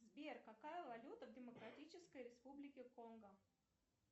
сбер какая валюта в демократической республике конго